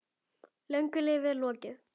Löngu lífi er lokið.